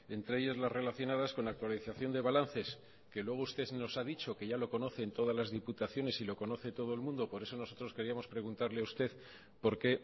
entre ellas las relacionadas con la actualización de balances que luego usted nos ha dicho que ya lo conocen todas las diputaciones y lo conoce todo el mundo por eso nosotros queríamos preguntarle a usted por qué